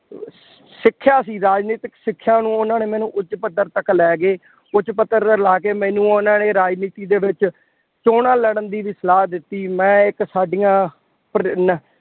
ਸਿੱਖਿਆ ਸੀ, ਰਾਜਨੀਤਿਕ ਸਿੱਖਿਆ ਨੂੰ ਉਹਨਾ ਨੇ ਮੈਨੂੰ ਉੱਚ ਪੱਧਰ ਤੱਕ ਲੈ ਗਏ। ਉੱਚ ਪੱਧਰ ਤੇ ਲੈ ਕੇ ਮੈਨੂੰ ਉਹਨਾ ਨੇ ਰਾਜਨੀਤੀ ਦੇ ਵਿੱਚ ਚੋਣਾਂ ਲੜਨ ਦੀ ਵੀ ਸਲਾਹ ਦਿੱਤੀ ਕਿ ਮੈਂ ਇੱਕ ਸਾਡੀਆਂ ਪ੍ਰੇਰਨਾ